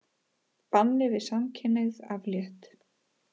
Banni við samkynhneigð aflétt